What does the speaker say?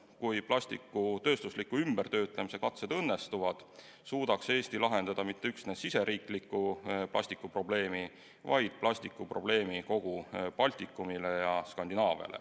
Kui plastiku tööstusliku ümbertöötlemise katsed õnnestuvad, suudaks Eesti lahendada mitte üksnes riigisisese plastikuprobleemi, vaid plastikuprobleemi kogu Baltikumis ja Skandinaavias.